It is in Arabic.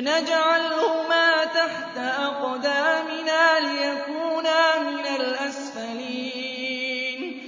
نَجْعَلْهُمَا تَحْتَ أَقْدَامِنَا لِيَكُونَا مِنَ الْأَسْفَلِينَ